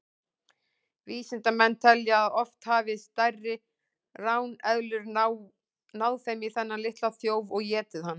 Vísindamenn telja að oft hafi stærri ráneðlur náð í þennan litla þjóf og étið hann.